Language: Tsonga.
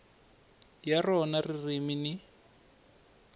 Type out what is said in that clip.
ya rona ririmi ni